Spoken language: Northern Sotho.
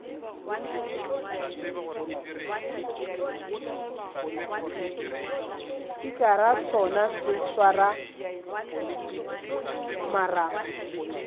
spikara sona se swara marapo